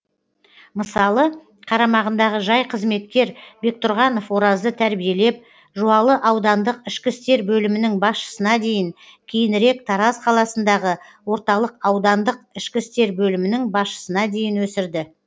мысалы қарамағындағы жай қызметкер бектұрғанов оразды тәрбиелеп жуалы аудандық ішкі істер бөлімінің басшысына дейін кейінірек тараз қаласындағы орталық аудандық ішкі істер бөлімінің басшысына дейін өсірді